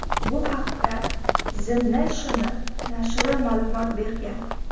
Bu haqda The National nashri ma’lumot bergan .